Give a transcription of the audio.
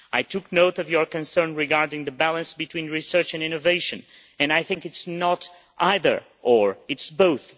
I took note of your concern regarding the balance between research and innovation and I think it is not either or', it is both.